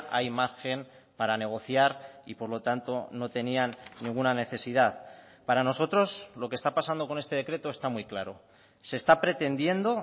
hay margen para negociar y por lo tanto no tenían ninguna necesidad para nosotros lo que está pasando con este decreto está muy claro se está pretendiendo